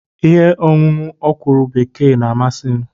Ihe ọṅụṅụ ọkwụrụ bekee na-amasị m.